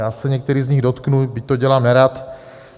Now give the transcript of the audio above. Já se některých z nich dotknu, byť to dělám nerad.